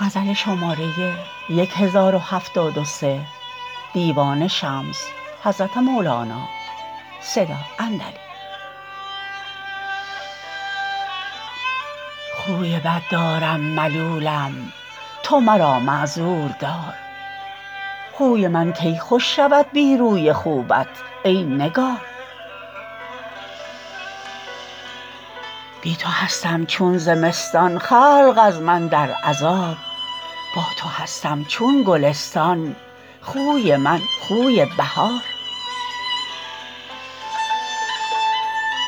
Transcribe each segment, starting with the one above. خوی بد دارم ملولم تو مرا معذور دار خوی من کی خوش شود بی روی خوبت ای نگار بی تو هستم چون زمستان خلق از من در عذاب با تو هستم چون گلستان خوی من خوی بهار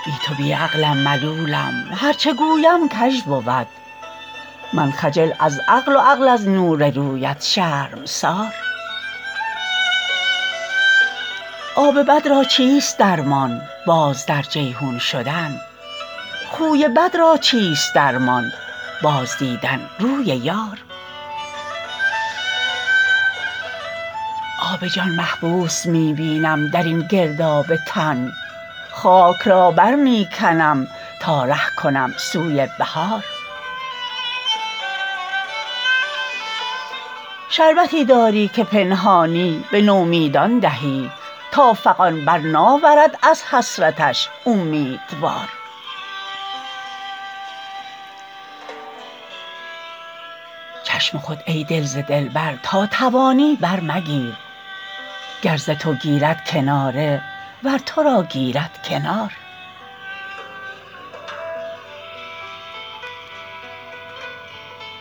بی تو بی عقلم ملولم هر چه گویم کژ بود من خجل از عقل و عقل از نور رویت شرمسار آب بد را چیست درمان باز در جیحون شدن خوی بد را چیست درمان بازدیدن روی یار آب جان محبوس می بینم در این گرداب تن خاک را بر می کنم تا ره کنم سوی بحار شربتی داری که پنهانی به نومیدان دهی تا فغان بر ناورد از حسرتش اومیدوار چشم خود ای دل ز دلبر تا توانی برمگیر گر ز تو گیرد کناره ور تو را گیرد کنار